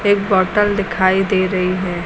एक बॉटल दिखाई दे रही है।